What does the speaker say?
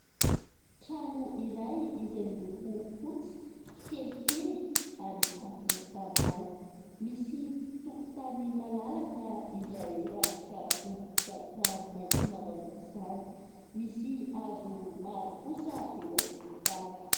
Trano iray izay miloko fotsy, kelikely ary tafo tanimanga. Misy tokotany malalaka izay rakotra bozaka maitso mavana aok'izany. Misy hazo maro kosa eo an-tokotany.